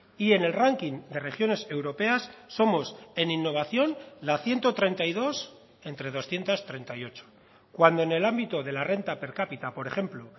y en el ranking de regiones europeas somos en innovación la ciento treinta y dos entre doscientos treinta y ocho cuando en el ámbito de la renta per cápita por ejemplo